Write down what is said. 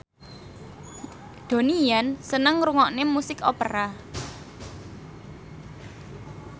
Donnie Yan seneng ngrungokne musik opera